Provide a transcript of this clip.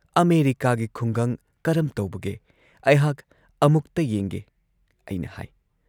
"ꯑꯃꯦꯔꯤꯀꯥꯒꯤ ꯈꯨꯡꯒꯪ ꯀꯔꯝ ꯇꯧꯕꯒꯦ ꯑꯩꯍꯥꯛ ꯑꯃꯨꯛꯇ ꯌꯦꯡꯒꯦ" ꯑꯩꯅ ꯍꯥꯏ ꯫